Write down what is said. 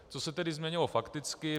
Co se tedy změnilo fakticky.